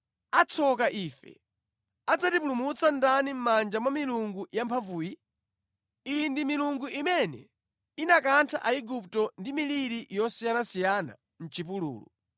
Atsoka ife! Adzatipulumutsa ndani mʼmanja mwa milungu yamphamvuyi? Iyi ndi milungu imene inakantha Aigupto ndi miliri yosiyanasiyana mʼchipululu.